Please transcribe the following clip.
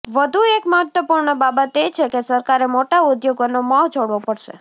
વધુ એક મહત્ત્વપૂર્ણ બાબત એ છે કે સરકારે મોટા ઉદ્યોગોનો મોહ છોડવો પડશે